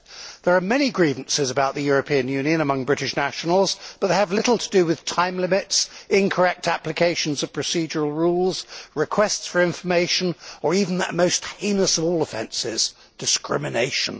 There are many grievances about the European Union among British nationals, but they have little to do with time limits, incorrect applications of procedural rules, requests for information or even that most heinous of all offences, discrimination.